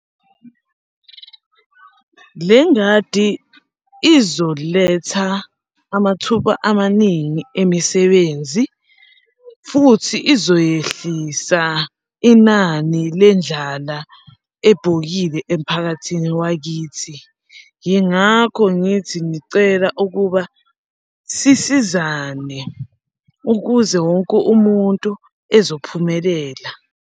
Le ngadi izoletha amathuba amaningi emisebenzi, futhi izoyehlisa inani lendlala ebhokile emphakathini wakithi. Yingakho ngithi ngicela ukuba sisizane ukuze wonke umuntu ezophumelela.